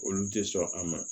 Olu tɛ sɔn a ma